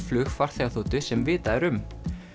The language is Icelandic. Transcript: flug farþegaþotu sem vitað er um